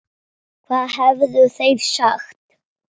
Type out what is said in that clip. Hvað hefðu þeir sagt?